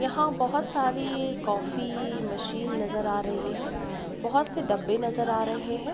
यहाँ बहोत सारी कॉफी मशीन नज़र आ रही है। बहोत से डब्बे नज़र आ रहे हैं।